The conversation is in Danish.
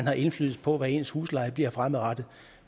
har indflydelse på hvad ens husleje bliver fremadrettet